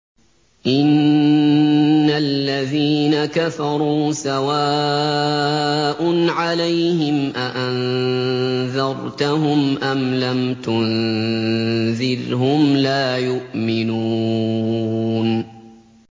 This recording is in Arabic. إِنَّ الَّذِينَ كَفَرُوا سَوَاءٌ عَلَيْهِمْ أَأَنذَرْتَهُمْ أَمْ لَمْ تُنذِرْهُمْ لَا يُؤْمِنُونَ